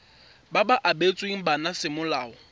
ba ba abetsweng bana semolao